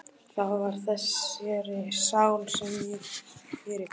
Það var þessari sál sem ég fyrirgaf.